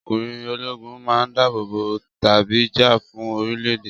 Ọkùnrin ológun man dábòbò tàbí jà fún orílẹ̀-èdè